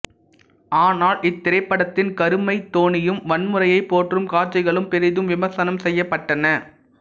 ஆனால் இத்திரைப்படத்தின் கருமை தொனியும் வன்முறையை போற்றும் காட்சிகளும் பெரிதும் விமர்சனம் செய்யப்பட்டன